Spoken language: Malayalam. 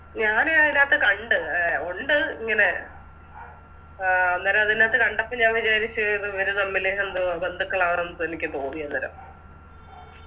ഞാന് അതിനത്ത് കണ്ട് എ ഒണ്ട് ഇങ്ങനെ ആ അഹ് അന്നേരം അതിനത്ത് കണ്ടപ്പോ ഞാ വിചാരിച്ച് ഇത് ഇവര് തമ്മില് എന്തോ ബന്ധുക്കളാണെന്ന് എനിക്ക് തോന്നിയന്നേരം